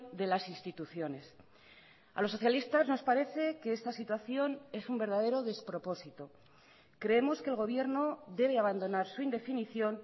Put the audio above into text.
de las instituciones a los socialistas nos parece que esta situación es un verdadero despropósito creemos que el gobierno debe abandonar su indefinición